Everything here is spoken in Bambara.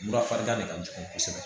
Mura farigan de ka jugu kosɛbɛ